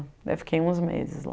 Daí eu fiquei uns meses lá.